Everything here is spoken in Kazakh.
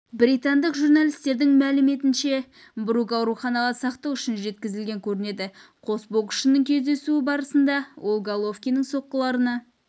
британдық журналистердің мәліметінше брук ауруханаға сақтық үшін жеткізілген көрінеді қос боксшының кездесуі барысында ол головкиннің соққыларына